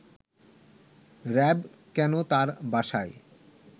RAB কেন তার বাসায়